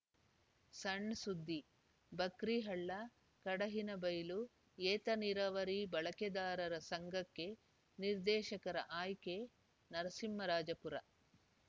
ಸಣ್‌ ಸುದ್ದಿ ಬಕ್ರಿಹಳ್ಳ ಕಡಹಿನಬೈಲು ಏತ ನೀರಾವರಿ ಬಳಕೆದಾರರ ಸಂಘಕ್ಕೆ ನಿರ್ದೇಶಕರ ಆಯ್ಕೆ ನರಸಿಂಹರಾಜಪುರ